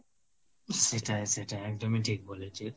সেটাই সেটাই, একদমই ঠিক বলেছিস।